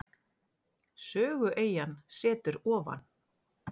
Sögueyjan setur ofan.